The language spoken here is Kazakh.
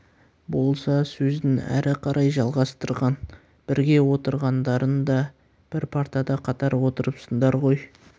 болса сөзін әрі қарай жалғастырған бірге оқығандарыңда бір партада қатар отырыпсыңдар ғой